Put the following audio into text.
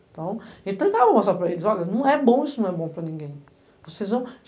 Então, a gente tentava mostrar para eles, olha, não é bom isso, não é bom para ninguém.